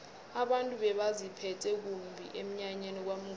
abantu bebaziphethe kumbi emnyanyeni kwamnguni